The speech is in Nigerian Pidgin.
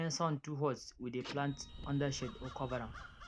when sun too hot we dey plant under shade or cover am